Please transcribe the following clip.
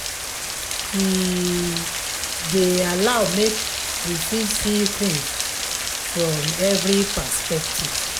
e um dey allow make we fit see things from every perspective